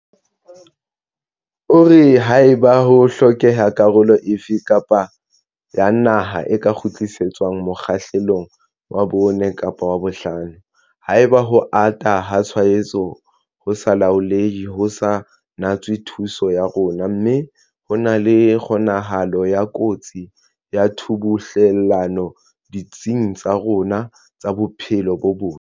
O re, haeba ho hlokeha, karolo efe kapa efe ya naha e ka kgutlisetswa mokgahlelong wa 4 kapa wa 5 haeba ho ata ha tshwaetso ho sa laolehe ho sa natswe thuso ya rona mme ho na le kgonahalo ya kotsi ya tshubuhlellano ditsing tsa rona tsa bophelo bo botle.